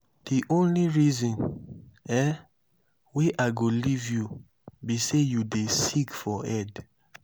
the only reason um wey i go leave you be say you dey sick for head